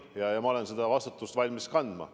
Ma olen valmis seda vastutust kandma.